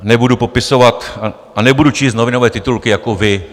Nebudu popisovat a nebudu číst novinové titulky jako vy.